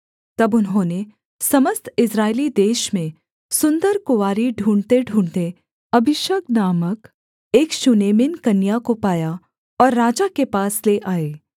तब उन्होंने समस्त इस्राएली देश में सुन्दर कुँवारी ढूँढ़तेढूँढ़ते अबीशग नामक एक शूनेमिन कन्या को पाया और राजा के पास ले आए